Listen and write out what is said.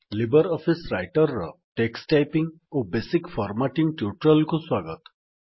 Libre Office Writer ର text typing ଓ basic formatting tutorial କୁ ସ୍ୱାଗତ